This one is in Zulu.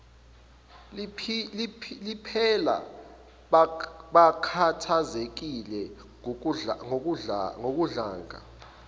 liphela bakhathazekile ngokudlanga